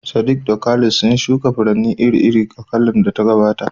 Sadiq da Khalid sun shuka furanni iri-iri a kakar da ta gabata.